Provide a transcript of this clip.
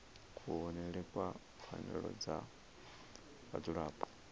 kuvhonele kwa pfanelo dza vhadzulapo